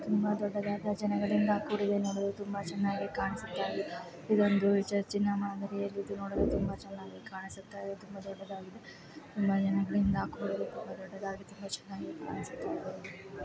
ತುಂಬಾ ದೊಡ್ಡ್ಡದಾದ ಜನಗಳಿಂದ್ ಕುಡಿದೆ ಚೆನ್ನಾಗಿ ಕಾಣಿಸುತ್ತ ಇದೆ ಇದೊಂದು ಚರ್ಚಿನ ಮಾದರಿಯಲ್ಲಿ ನೋಡಲು ತುಂಬಾ ಚೆನ್ನಾಗಿ ಕಾಣಿಸುತ್ತಿದೆ .ತುಂಬಾ ಜನಗಳಿಂದ್ ಕೂಡಿದೆ ತುಂಬಾ ದೊಡ್ಡದಾಗಿದೆ .